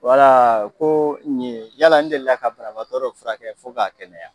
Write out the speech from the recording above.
ko ɲe yaala, n delila ka banabaatɔ dɔ furakɛ fo k'a kɛnɛya yan ?